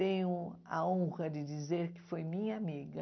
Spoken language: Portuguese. Tenho a honra de dizer que foi minha amiga.